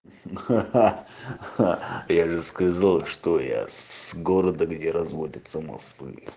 ха-ха-ха я же сказал что я с города где разводятся мосты